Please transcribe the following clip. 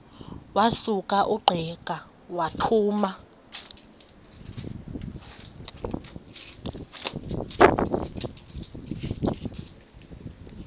wasuka ungqika wathuma